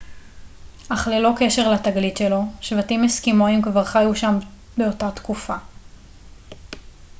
אך ללא קשר לתגלית שלו שבטים אסקימואים כבר חיו שם באותה תקופה